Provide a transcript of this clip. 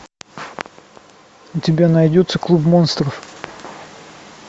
у тебя найдется клуб монстров